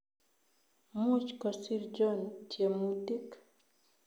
Much kosiir John tyemutik